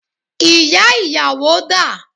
Ìyá ìyàwó dà?